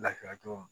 Lafiya cogo